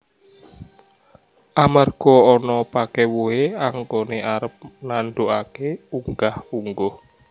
Amarga ana pakèwuhé anggoné arep nandukaké unggah ungguh